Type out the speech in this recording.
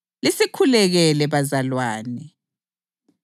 Bingelelani abazalwane bonke ngokwangana okungcwele.